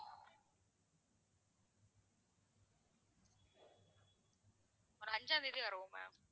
ஒரு அஞ்சாம் தேதி வருவோம் ma'am.